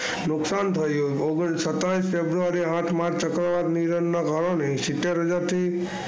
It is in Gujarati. નું નુકસાન થયું સત્યાવીસ ફેબ્રુઆરી આઠ માર્ચ ના કારણે સિત્તેર હજાર થી,